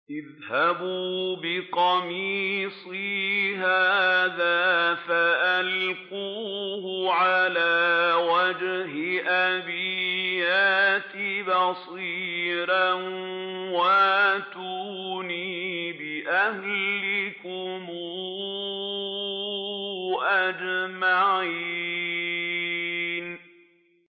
اذْهَبُوا بِقَمِيصِي هَٰذَا فَأَلْقُوهُ عَلَىٰ وَجْهِ أَبِي يَأْتِ بَصِيرًا وَأْتُونِي بِأَهْلِكُمْ أَجْمَعِينَ